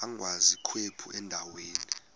agwaz ikhephu endaweni